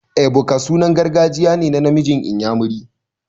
Ebuka sunan gargajiya ne na namiji inyamiri.